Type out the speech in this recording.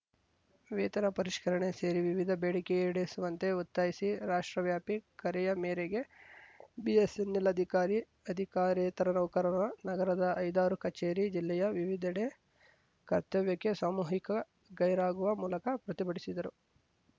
ವೇತನ ಪರಿಷ್ಕರಣೆ ಸೇರಿ ವಿವಿಧ ಬೇಡಿಕೆ ಈಡೇರಿಸುವಂತೆ ಒತ್ತಾಯಿಸಿ ರಾಷ್ಟ್ರ ವ್ಯಾಪಿ ಕರೆಯ ಮೇರೆಗೆ ಬಿಎಸ್ಸೆನ್ನೆಲ್‌ ಅಧಿಕಾರಿ ಅಧಿಕಾರೇತರ ನೌಕರರ ನಗರದ ಐದಾರು ಕಚೇರಿ ಜಿಲ್ಲೆಯ ವಿವಿಧೆಡೆ ಕರ್ತವ್ಯಕ್ಕೆ ಸಾಮೂಹಿಕ ಗೈರಾಗುವ ಮೂಲಕ ಪ್ರತಿಭಟಿಸಿದರು